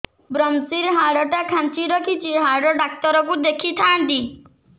ଵ୍ରମଶିର ହାଡ଼ ଟା ଖାନ୍ଚି ରଖିଛି ହାଡ଼ ଡାକ୍ତର କୁ ଦେଖିଥାନ୍ତି